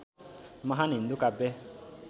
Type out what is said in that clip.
महान हिन्दू काव्य